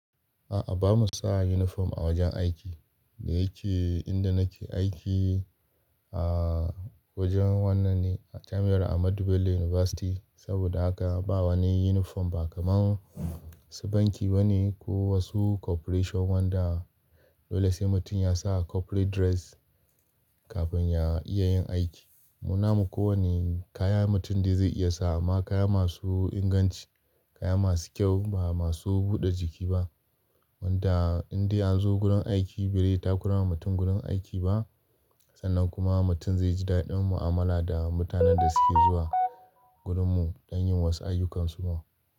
A'a bamu sa uniform a wajen aiki. Da yake inda nake aiki, a wajen wannan ne a jami'ar Ahmadu Bello University, saboda haka ba wani uniform ba kamar su banki bane ko wasu corporation wanda dole sai mutum ya sa corporate dress kafin ya iya yin aiki. Mu na mu kowane kaya mutum dai zai iya sawa amma kaya masu inganci, kaya masu kyau ba masu buɗe jiki ba. Wanda in dai an zo gurin aiki bai dai takura wa mutum gurin aiki ba sannan kuma mutum zai ji daɗin mu'amala da mutanen da suke zuwa gurinmu don yin wasu ayyukansu ma.